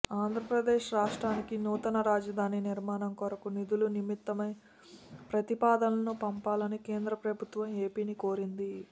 ఆంధ్రప్రదేశ్ రాష్ట్రానికి నూతన రాజధాని నిర్మాణం కొరకు నిధుల నిమిత్తమై ప్రతిపాదనలను పంపాలని కేంద్ర ప్రభుత్వం ఏపీని కోరింది